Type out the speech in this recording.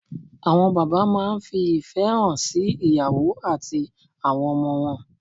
Àwọn bàbá máa n fi ìfẹ́ hàn sí ìyàwó àti àwọn ọmọ wọn